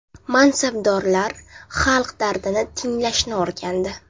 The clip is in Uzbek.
Mansabdorlar xalq dardini tinglashni o‘rgandi.